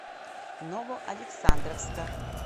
новоалександровска